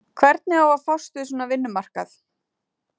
Hvernig á að fást við svona vinnumarkað?